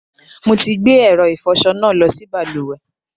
Mo ti gbé ẹ̀rọ ìfọṣọ náà lọ sí balùwẹ̀.